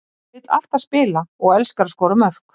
Hann vill alltaf spila og hann elskar að skora mörk.